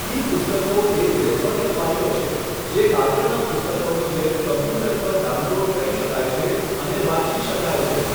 ઈ પુસ્તકો એ ઈલેક્ટ્રોનિક ફાઈલો છે જે કાગળનાં પુસ્તકોની જેમ કમ્પ્યુટર પર ડાઉનલોડ કરી શકાય છે અને વાંચી શકાય છે.